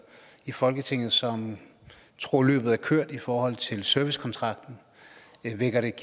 i folketinget som tror at løbet er kørt i forhold til servicekontrakten